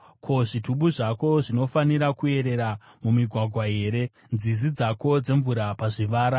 Ko, zvitubu zvako zvinofanira kuerera mumigwagwa here; nzizi dzako dzemvura pazvivara?